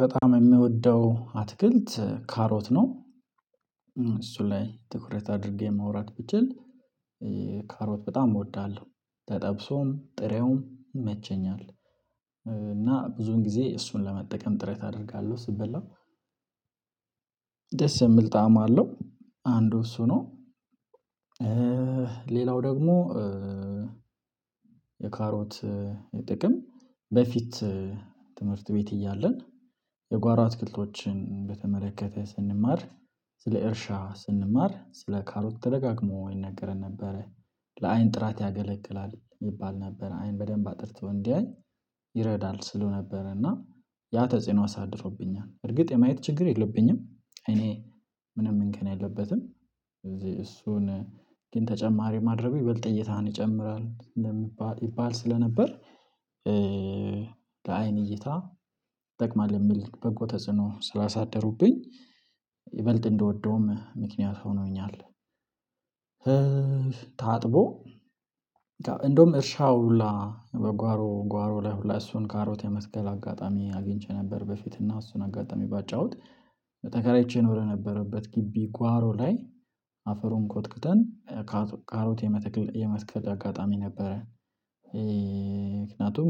በጣም የምወደው አትክልት ካሮት ነው። እሱ ላይ ትኩረት አድርጌ ማውራት ብችል። ካሮት በጣም እወዳለሁ ተጠብሶም ጥሬውም ይመቸኛል። እና ብዙን ጊዜ እሱን ለመጠቀም ጥረት አደርጋለሁ ስበላ ደስ የሚል ጣዕም አለው አንዱ እሱ ነው። ሌላው ደግሞ የካሮት የጥቅም በፊት ትምህርት ቤት እያለን የጓሮ አትክልቶችን በተመለከተ ስንማር ስለ እርሻ ስንማር ስለ ካሮት ተደጋግሞ ይነገረን ነበረ። ለአይን ጥራት ያገለግላል ይባል ነበረ አይን በደንብ አጥርቶ እንዲያይ ይረዳል ሲሉ ነበር። እና ያ ተጽዕኖ አሳድሮብኛል እርግጥ የማየት ችግር የለብኝም እኔ ምንም እንከን የለበትም። ስለዚህ እሱን ግን ተጨማሪ ማድረጉ ይበልጥ እይታህን ይጨምራል ስለሚባ ይባል ስለነበር ለአይን እይታ ይጠቅማል የሚል በጎ ተጽዕኖ ስላሳደሩብኝ ይበልጥ እንድወደውም ምክንያት ሆኖኛል። ታጥቦ እንደውም እርሻው ሁላ በጓሮ ጓሮ ላይ ሁላ እሱን ካሮት የመትከል አጋጣሚ አግኝቼ ነበር። በፊት እና እሱን አጋጣሚ ባጫወት ተከራይቼ እኖር የነበረበት ግቢ ጓሮ ላይ አፈሩን ኮትክተን ካሮት የመትክል የመትከል አጋጣሚ ነበረን ምክንያቱም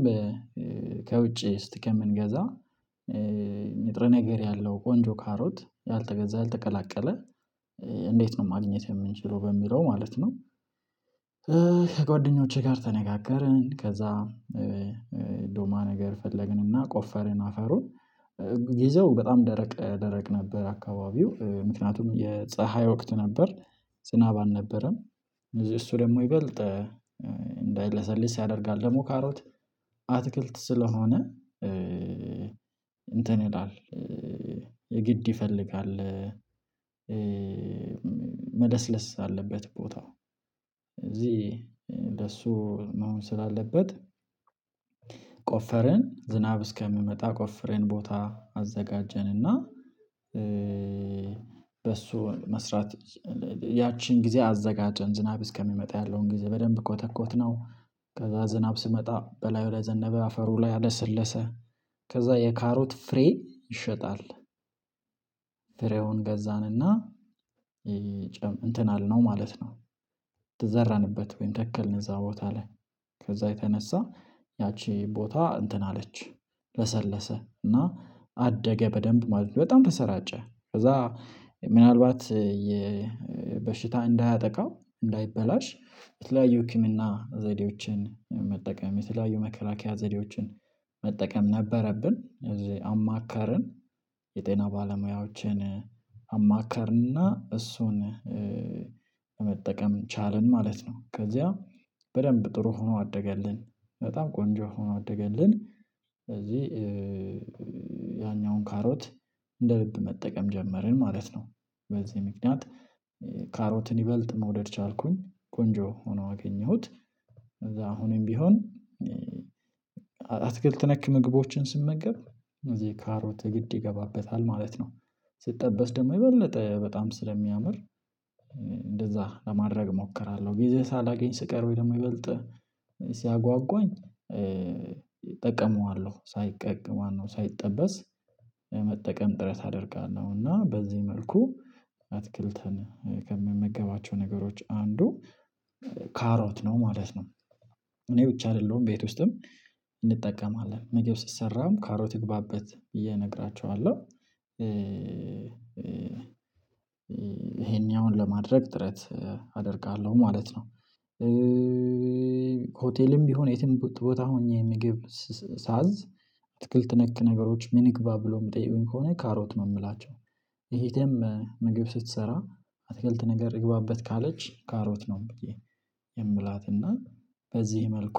ከውጪ እስቲ ከምንገዛ ንጥረ ነገር ያለው ቆንጆ ካሮት ያልተገዛ ያልተቀላቀለ እንዴት ነው ማግኘት የምንችለው በሚለው ማለት ነው። ከጓደኞቼ ጋር ተነጋገርን ከዛ ዶማ ነገር ፈለግንና ቆፈርን አፈሩን ግዜው በጣም ደረቅ ደረቅ ነበር አካባቢው ምክንያቱም የፀሀይ ወቅት ነበር። ዝናብ አልነበረም። እሱ ደግሞ ይበልጥ እንዳይለሰልስ ያደርጋል ደግሞ ካሮት አትክልት ስለሆነ እንትን ይላል የግድ ይፈልጋል። መለስለስ አለበት ቦታው እዚህ ለሱ መሆን ስላለበት ቆፈረን ዝናብ እስከሚመጣ ቆፍረን ቦታ አዘጋጀንና። በሱ መስራት ያቺን ጊዜ አዘጋጀን ዝናብ እስከሚመጣ ያለውን ጊዜ በደንብ ኮተኮትነው ከዛ ዝናብ ሲመጣ በላዩ ላይ ዘነበ አፈሩ ላይ አለሰለሰ ከዛ የካሮት ፍሬ ይሸጣል። ፍሬውን ገዛንና እንትን አልነው ማለት ነው። ተዘራንበት ወይም ተከልን እዛ ቦታ ላይ ከዛ የተነሳ ያቺ ቦታ እንትን አለች ለሰለሰ እና አደገ በደንብ ማለት ነው በጣም ተሰራጨ። ከዛ ምናልባት የበሽታ እንዳያጠቃው እንዳይበላሽ የተለያዩ ህክምና ዘዴዎችን መጠቀም የተለያዩ መከላከያ ዘዴዎችን መጠቀም ነበረብን እዚህ አማከርን የጤና ባለሙያዎችን አማከርንና እሱን መጠቀም ቻልን ማለት ነው። ከዚያ በደንብ ጥሩ ሆኖ አደገልን በጣም ቆንጆ ሆኖ አደገልን። ስለዚህ ያኛውን ካሮት እንደ ልብ መጠቀም ጀመርን ማለት ነው። በዚህ ምክንያት ካሮትን ይበልጥ መውደድ ቻልኩኝ ቆንጆ ሆኖ አገኘሁት። ከዛ አሁንም ቢሆን አትክልት ነክ ምግቦችን ስመገብ እዚህ ካሮት የግድ ይገባበታል ማለት ነው። ሲጠበስ ደግሞ የበለጠ በጣም ስለሚያምር እንደዛ ለማድረግ እሞክራለሁ ጊዜ ሳላገኝ ስቀር ወይ ደግሞ ይበልጥ ሲያጓጓኝ እጠቀመዋለሁ ሳይቀቅ ማነው ሳይጠበስ መጠቀም ጥረት አደርጋለሁ እና በዚህ መልኩ አትክልትን ከምመገባቸው ነገሮች አንዱ ካሮት ነው ማለት ነው። እኔ ብቻ አይደለሁም ቤት ውስጥም እንጠቀማለን ምግብ ሲሰራም ካሮት ይግባበት ብዬ እነገራቸኋለሁ ይሄኛውን ለማድረግ ጥረት አደርጋለሁ ማለት ነው። ሆቴልም ቢሆን የትም ቦታ ሆኜ ምግብ ሳዝ አትክልት ነክ ነገሮች ምን ይግባ ብሎ ሚጠይቁኝ ከሆነ ካሮት ነው የምላቸው። እህቴም ምግብ ስትሰራ አትክልት ነገር ይግባበት ካለች ካሮት ነው ብዬ የምላትና በዚህ መልኩ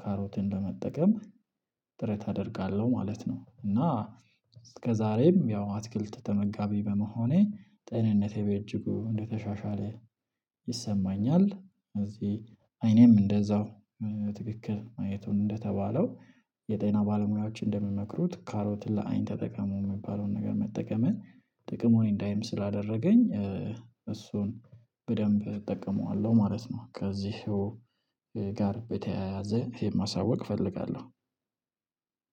ካሮትን ለመጠቀም ጥረት አደርጋለሁ ማለት ነው። እና እስከዛሬም ያው አትክልት ተመጋቢ በመሆኔ ጤንነቴ በእጅጉ እንደተሻሻለ ይሰማኛል እዚህ አይኔም እንደዛው ትክክል ማየቱም እንደተባለው የጤና ባለሙያዎች እንደሚመክሩት ካሮትን ለአይን ተጠቀሙ የሚባለውን ነገር መጠቀምን ጥቅሙን እንዳይም ስላደረገኝ እሱን በደንብ እጠቀመዋለሁ ማለት ነው። ከዚሁ ጋር በተያያዘ ይሄን ማሳወቅ እፈልጋለሁ።